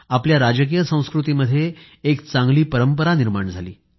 आपल्या राजकीय संस्कृतीमध्ये चांगली परंपरा निर्माण झाली